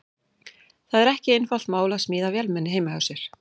Það er ekki einfalt mál að smíða vélmenni heima hjá sér.